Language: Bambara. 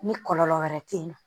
Ni kɔlɔlɔ wɛrɛ te yen nɔ